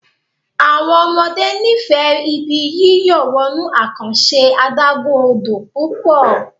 àwọn ọmọdé n'ifẹ Ibi yíyọ̀ wọnú àkànṣe adágún-odò pupo